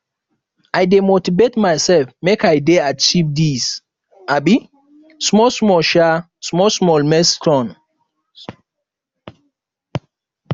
i dey motivate mysef make i dey achieve dese um smallsmall um smallsmall milestones